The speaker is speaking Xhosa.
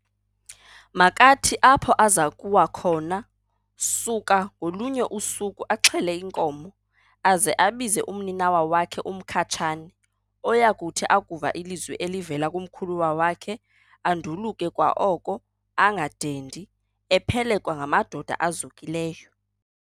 Makathi apho azakuwa khona, suka ngolunye usuku axhele inkomo, aze abize umninawa wakhe uMkhatshane, oyakuthi akuva ilizwi elivela kumkhuluwa wakhe, anduluke kwaoko angadendi, ephelekwa ngamadoda azukileyo.